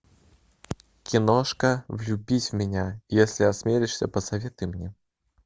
киношка влюбись в меня если осмелишься посоветуй мне